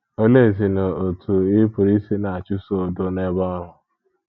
Oleezinụ otú ị pụrụ isi na - achụso udo n’ebe ọrụ?